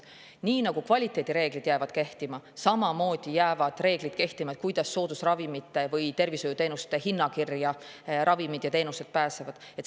Nii nagu kvaliteedireeglid jäävad kehtima, jäävad samamoodi kehtima reeglid selle kohta, kuidas pääsevad ravimid ja teenused sinna soodusravimite või tervishoiuteenuste hinnakirja.